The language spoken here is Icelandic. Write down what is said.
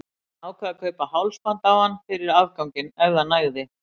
Hann ákvað að kaupa hálsband á hann fyrir afganginn, ef það nægði.